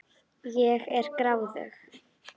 Ég er gráðug.